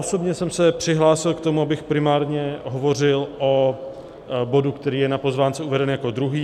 Osobně jsem se přihlásil k tomu, abych primárně hovořil o bodu, který je na pozvánce uveden jako druhý.